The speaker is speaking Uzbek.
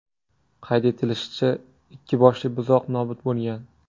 Qayd etilishicha, ikki boshli buzoq nobud bo‘lgan.